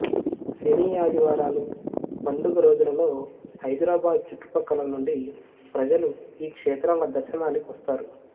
శని ఆది వారాలు పండగ రోజులలో హైదరాబాదు చుట్టు ప్రక్కలనుండి ప్రజలు ఈ క్షేత్రాల దర్శనానికి వస్తారు